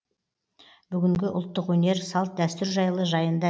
бүгінгі ұлттық өнер салт дәстүр жайлы жайында